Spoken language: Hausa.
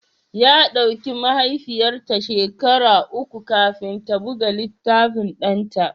Ya ɗauki mahaifiyata shekaru uku kafin ta buga littafin ɗanta